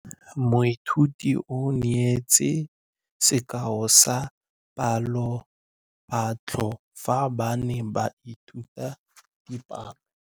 Moithuti o neetse sekaô sa palophatlo fa ba ne ba ithuta dipalo.